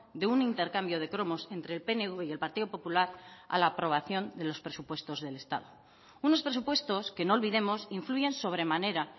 de un intercambio de cromos entre el pnv y el partido popular a la aprobación de los presupuestos del estado unos presupuestos que no olvidemos influyen sobremanera